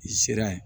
I sera ye